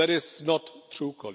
That is not true.